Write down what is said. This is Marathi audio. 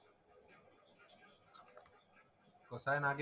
मग काय नागे